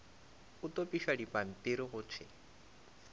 a topišwa dipampiri go thwe